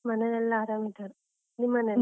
ಮನೇಲೆಲ್ಲಾ ಅರಾಮ್ ಇದ್ದಾರೆ, ನಿಮ್ ಮನೇಲಿ?